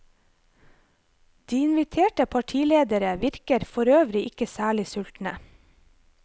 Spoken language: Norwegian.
De inviterte partiledere virker forøvrig ikke særlig sultne.